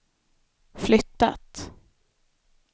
flyttat